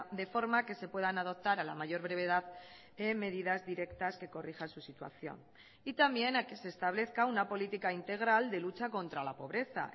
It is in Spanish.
de forma que se puedan adoptar a la mayor brevedad medidas directas que corrijan su situación y también a que se establezca una política integral de lucha contra la pobreza